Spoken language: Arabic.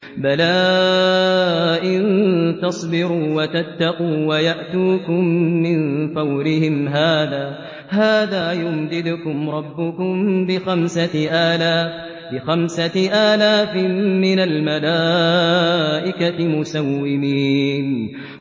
بَلَىٰ ۚ إِن تَصْبِرُوا وَتَتَّقُوا وَيَأْتُوكُم مِّن فَوْرِهِمْ هَٰذَا يُمْدِدْكُمْ رَبُّكُم بِخَمْسَةِ آلَافٍ مِّنَ الْمَلَائِكَةِ مُسَوِّمِينَ